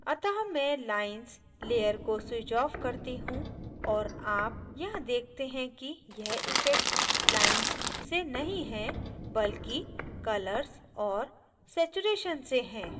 अतः मैं lines layer को switch off करती हूँ और आप यहाँ देखते हैं की यह इफ़ेक्ट lines से नहीं है बल्कि colour और saturation से है